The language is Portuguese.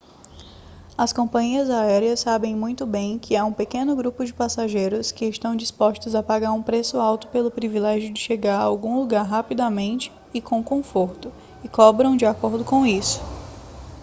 as companhias aéreas sabem muito bem que há um pequeno grupo de passageiros que estão dispostos a pagar um preço alto pelo privilégio de chegar a algum lugar rapidamente e com conforto e cobram de acordo com isso